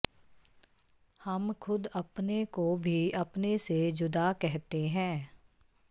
ਹਮ ਖੁਦ ਅਪਨੇ ਕੋ ਭੀ ਅਪਨੇ ਸੇ ਜੁਦਾ ਕਹਤੇ ਹੈਂ